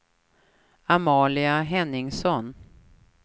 Amalia Henningsson